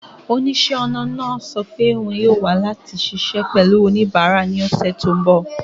Oníṣẹ́-ọnà náà sọ pé òun yóò wà láti ṣiṣẹ́ pẹ̀lú oníbàárà ní ọ̀sẹ̀ tó ń bọ̀.